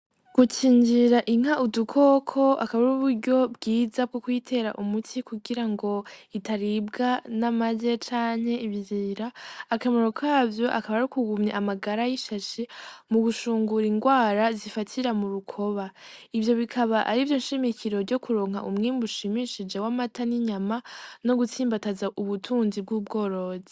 Gucinjira inka udukoko akaba ri uburyo bwiza bwo kwitera umuti kugira ngo itaribwa n'amaje canke ibzira akamuro kavyo akaba ari kugumya amagara y'ishashi mu gushungura ingwara zifatira mu rukoba ivyo bikaba ari vyo nshimikiro ryo kuronka umwemi ushimishijewe mata n'inyama no gutsimbataza ubutunzi bw'ubworozi.